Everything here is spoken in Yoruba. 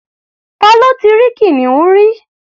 Ta ló ti rí kìnìún rí?